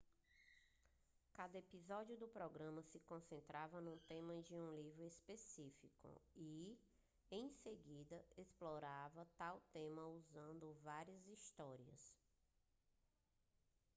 cada episódio do programa se concentrava no tema de um livro específico e em seguida explorava tal tema usando várias histórias